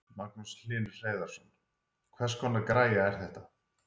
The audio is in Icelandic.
Magnús Hlynur Hreiðarsson: Hvers konar græja er þetta?